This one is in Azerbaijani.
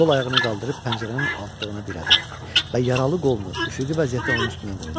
Sol ayağını qaldırıb pəncərənin altlığına dirədi və yaralı qolunu üfüqi vəziyyətdə onun üstünə qoydu.